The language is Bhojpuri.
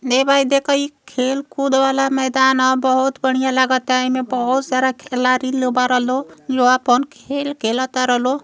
ले भाई इत खेलकूद वाला मैदान ह। बहोत बढ़िया लागता। एमे बहोत सारा खेलारी लो बार लो जो आपन खेल खेल तार लो।